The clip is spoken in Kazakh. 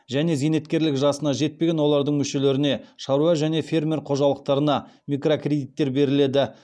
және зейнеткерлік жасына жетпеген олардың мүшелеріне шаруа және фермер қожалықтарына микрокредиттер беріледі